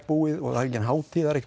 búið og það er engin hátíð